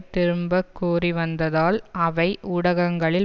திரும்பக்கூறிவந்ததால் அவை ஊடகங்களில்